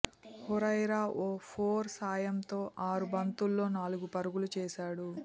హురైరా ఓ ఫోర్ సాయంతో ఆరు బంతుల్లో నాలుగు పరుగులు చేశాడు